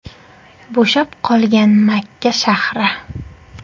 Bo‘shab qolgan Makka shahri.